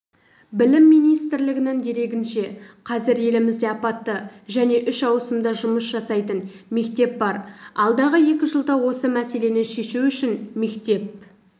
білім министрлігінің дерегінше қазір елімізде апатты және үш ауысымда жұмыс жасайтын мектеп бар алдағы екі жылда осы мәселені шешу үшін мектеп